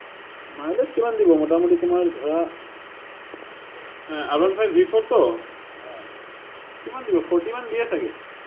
mileage কিমান দিব, মোটামুটি তোমাৰ ধৰা R one five v four তো। কিমান দিব, forty মান দিয়ে চাগে।